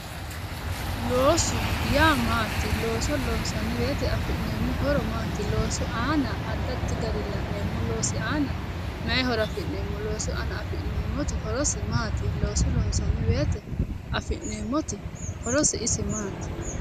Loosu yaa maati looso loonissanni woyite afi'neemo horo Maati loosu aana addi addi garii la'neemo loosi aana mayi horo afi'neemo loosu aana afi'neemoti horose maati? Looso loonissanni woyite afi'neemoti horosi isi masti?